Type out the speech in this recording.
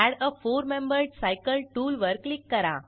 add a four membered cycle tool वर click करा